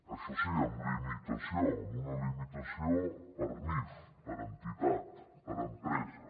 això sí amb limitació amb una limitació per nif per entitat per empresa